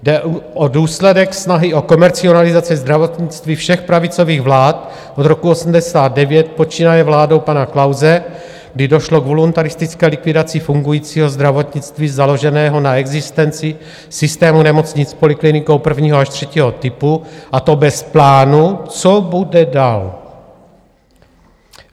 Jde o důsledek snahy o komercializaci zdravotnictví všech pravicových vlád od roku 1989, počínaje vládou pana Klause, kdy došlo k voluntaristické likvidaci fungujícího zdravotnictví založeného na existenci systému nemocnic s poliklinikou prvního až třetího typu, a to bez plánu, co bude dál.